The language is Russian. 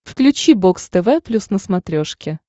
включи бокс тв плюс на смотрешке